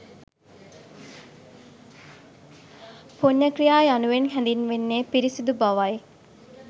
පුණ්‍ය ක්‍රියා යනුවෙන් හැඳින්වෙන්නේ පිරිසුදු බවයි.